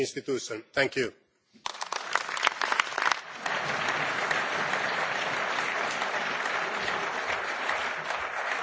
On. Takkula, le formuliamo i migliori auguri per il nuovo incarico che ha avuto. Resteremo certamente in contatto e avremo l'occasione di confrontarci ancora parlando di bilancio dell'Unione.